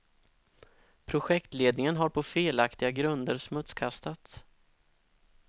Projektledningen har på felaktiga grunder smutskastats.